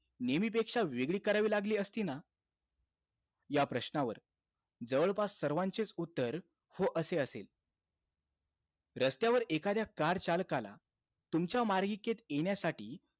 नेहमीपेक्षा वेगळी करावी लागली असती ना? या प्रश्नावर, जवळपास सर्वांचेच उत्तर हो असे असेल. रस्त्यावर एखाद्या car चालकाला तुमच्या मार्गिकेत येण्यासाठी,